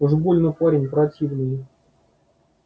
уж больно парень противный